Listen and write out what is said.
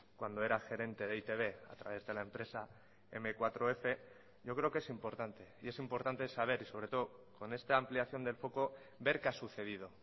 cuando era gerente de e i te be a través de la empresa eme cuatro efe yo creo que es importante y es importante saber y sobre todo con esta ampliación del foco ver qué ha sucedido